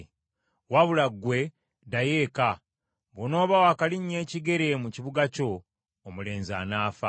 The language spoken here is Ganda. “Wabula ggwe, ddayo eka. Bw’onooba wakalinnya ekigere mu kibuga kyo, omulenzi anaafa.